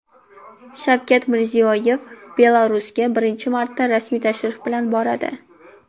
Shavkat Mirziyoyev Belarusga birinchi marta rasmiy tashrif bilan boradi.